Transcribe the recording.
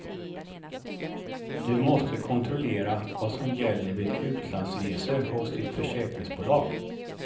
Du måste kontrollera vad som gäller vid utlandsresor hos ditt försäkringsbolag.